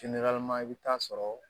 i bɛ taa sɔrɔ